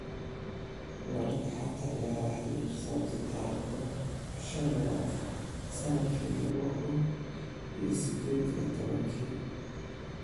Wararka xanta ciyaaraha Yurub Sabti tarikh tobnaan bisha lawaad sanadki lawo kuun iyo sidded iyo tobaanki